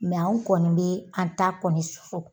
anw kɔni be an ta kɔni susu.